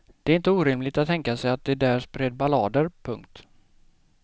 Det är inte orimligt att tänka sig att de där spred ballader. punkt